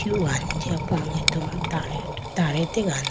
luhone jiya potar tar ategane.